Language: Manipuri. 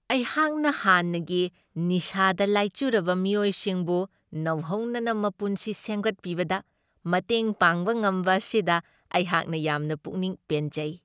ꯑꯩꯍꯥꯛꯅ ꯍꯥꯟꯅꯒꯤ ꯅꯤꯁꯥꯗ ꯂꯥꯏꯆꯨꯔꯕ ꯃꯤꯑꯣꯏꯁꯤꯡꯕꯨ ꯅꯧꯍꯧꯅꯅ ꯃꯄꯨꯟꯁꯤ ꯁꯦꯝꯒꯠꯄꯤꯕꯗ ꯃꯇꯦꯡ ꯄꯥꯡꯕ ꯉꯝꯕ ꯑꯁꯤꯗ ꯑꯩꯍꯥꯛꯅ ꯌꯥꯝꯅ ꯄꯨꯛꯅꯤꯡ ꯄꯦꯟꯖꯩ ꯫